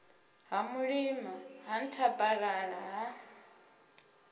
ha mulima ha nthabalala ha